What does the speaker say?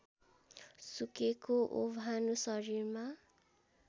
सुकेको ओभानो शरीरमा